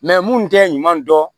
mun tɛ ɲuman dɔn